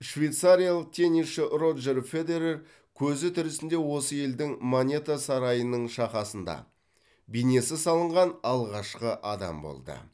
швейцариялық теннисші роджер федерер көзі тірісінде осы елдің монета сарайының шақасында бейнесі салынған алғашқы адам болды